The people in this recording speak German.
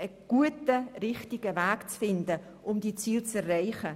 Es gilt, einen guten und richtigen Weg zu finden, um diese Ziele zu erreichen.